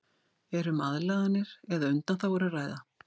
Er um aðlaganir eða undanþágur að ræða?